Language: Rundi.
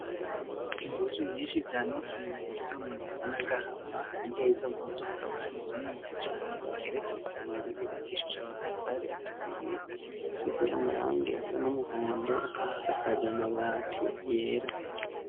Impuzu nyinshi zanikiriye ku vyuma bisa n'agahama, hirya y'izo mpuzu hakaba hari inzu niniya cane igeretse kabiri yubakishije amatafari aturiye, isize amarangi asa n'umuhondo ikaba isakaje amabati yera.